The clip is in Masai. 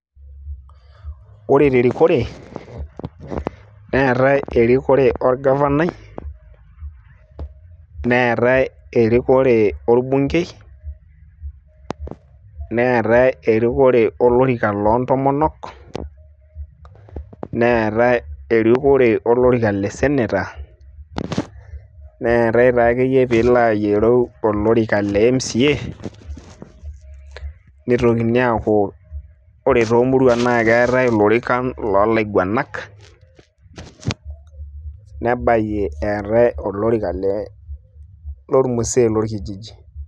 Ore terikore, neetae erikore orgavanai, neetae erikore orbunkei, neetae erikore olorika loontomonok, neetae erikore olorika le senator ,neetae ta akeyie pilo ayiolou olorika le mca, nitokini aku ore tomuruak na keetae ilorikan lolaiguanak. Nebayie eetae olorika le lormusee lorkijiji.